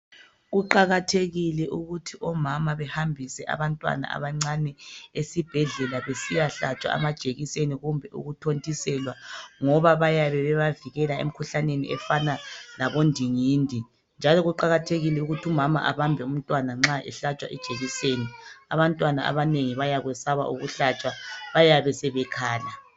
Kuqakathekile ukuthi omama behambise abantwana abancane esibhedlela besiyahlatshwa amajekiseni kumbe ukuthontiselwa ngoba bayabe bebavikela emkhuhlaneni efana labo ndingindi. Njalo kuqakathekile ukuthi umama abambe umntwana nxa ehlatshwa ijekiseni abantwana abanengi bayakwesaba ukuhlatshwa bayabe sebekhala.